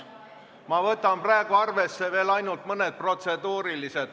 Ma võtan praegu arvesse veel ainult mõned protseduurilised küsimused.